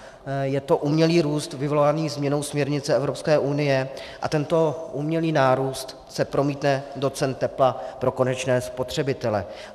Je to umělý růst vyvolaný změnou směrnice Evropské unie a tento umělý nárůst se promítne do cen tepla pro konečné spotřebitele.